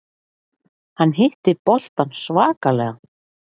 Hann hitti boltann svakalega.